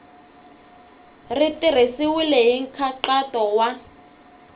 ri tirhisiwile hi nkhaqato wa